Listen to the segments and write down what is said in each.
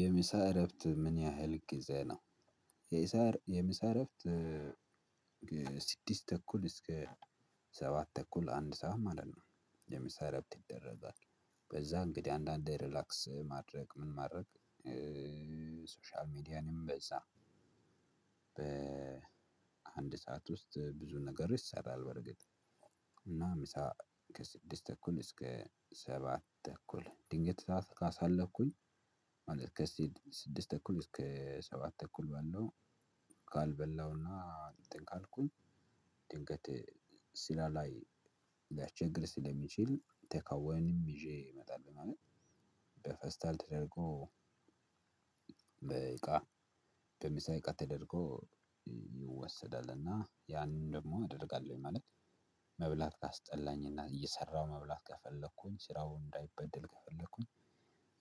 የምሳ እረፍት ምን ያህል ጊዜ ነው? የምሳ እረፍት ከስድስት ተኩል እስከ ሰባት ተኩል አንድ ሰዓት ማለት ነው የምሳ እራፍት ይደረጋል። ከዛ እንግዲህ አንዳንዴ ሪላክስ ማድረግ ምን ማድረግ ሶሻል ሚዲያንም በዛ በአንድ ሰዓት ውስጥ ብዙ ነገር ይሰራል። በርግጥ እና ምሳ ከስድስት ተኩል እስከ ሰባት ተኩል ድንገት ሰዓት ካሳለፍኩኝ ማለት ከስድስት ተኩል እስከ ሰባት ተኩል ባለው ካልበላውና ካልኩኝ ድንገት ስራ ላይ ልያስቸግር ስለሚችል ቴካዌንም ይዤ እመጣለሁ። ማለት በፌስታል ተደርጎ በእቃ በምሳ እቃ ተደርጎ ይወሰዳል እና ያንን ደግሞ አደርጋለሁኝ ማለት። መብላት ካስጠላኝና እየሰራሁ መብላት ከፈለኩኝ ስራው እንዳይበደል ከፈለኩኝ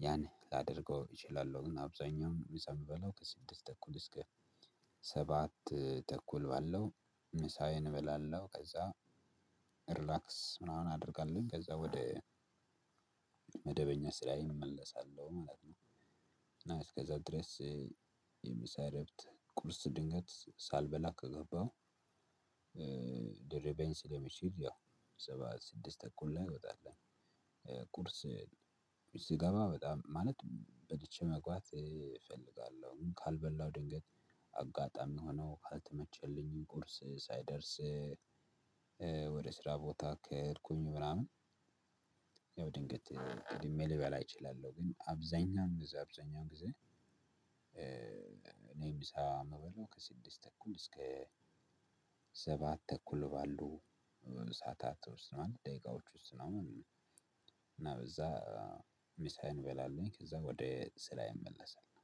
ያኔ ላደርገው እችላለሁ። ግን አብዛኛውን ምሳ ምበላው ከስድስት ተኩል እስከ ሰባት ተኩል ባለው ምሳዬን እበላለሁ። ከዛ ሪላክስ ምናምን አደርጋለሁ ከዛ ወደ መደበኛ ስራዬን እመለሳለሁ ማለት ነው። እና እስከዛ ድረስ የምሳ እረፍት ቁርስ ድንገት ሳልበላ ከገባው ሊርበኝ ስለሚችል ያው ሰባት ስድስት ተኩል ላይ እንወጣለን። ቁርስ ስገባ በጣም ማለት በልቼ መግባት እፈልጋለሁ። ግን ካልበላው ድንገት አጋጣሚ ሆኖ ካልተመቸልኝ ቁርስ ሳይደርስ ወደስራ ቦታ ከሄድኩኝ ምናምን ያው ድንገት ቀድሜ ልበላ እችላለሁ። ግን አብዛኛውን ጊዜ አብዛኛውን ጊዜ እኔ ምሳ ምበላው ከስድስት ተኩል እስከ ሰባት ተኩል ባሉ ሰዓታት ውስጥ ነው አንድ ደቂቃዎች ውስጥ ነው። እና በዛ ምሳይን እበላለሁኝ ከዛ ወደ ስራዬ እመለሳለው።